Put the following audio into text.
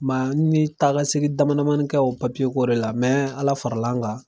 n ye takasegin damadamanin k'o papiyekore la ALA faral'an kan.